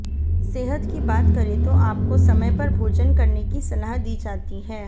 सेहत की बात करें तो आपको समय पर भोजन करने की सलाह दी जाती है